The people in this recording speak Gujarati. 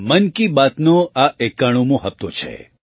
મન કી બાતનો આ ૯૧મો હપ્તો છે